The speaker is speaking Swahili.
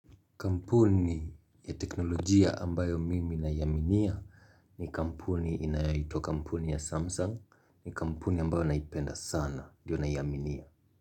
Kampuni ya teknolojia ambayo mimi naiaminia ni kampuni inayoitwa kampuni ya Samsung ni kampuni ambayo naipenda sana diyo naiaminia.